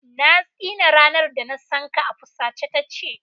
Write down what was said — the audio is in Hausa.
Na tsine ranar da na san ka, a fusace ta ce.